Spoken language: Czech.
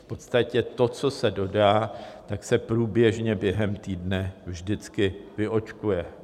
V podstatě to, co se dodá, tak se průběžně během týdne vždycky vyočkuje.